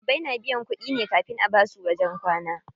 Ɗalibai na biyan kuɗi ne kafin a basu wajen kwana.